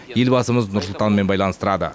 елбасымыз нұрсұлтанмен байланыстырады